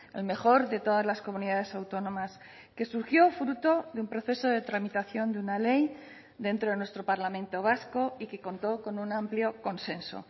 el mejor de todas las comunidades autónomas que surgió fruto de un proceso de tramitación de una ley dentro de nuestro parlamento vasco y que contó con un amplio consenso